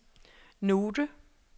note